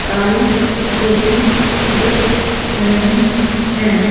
काली सोहे दीख रही हैं।